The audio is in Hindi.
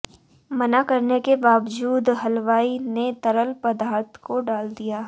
मना करने के बावजूद हलवाई ने तरल पदार्थ को डाल दिया